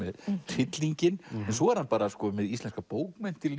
hryllinginn en svo er hann með íslenskar bókmenntir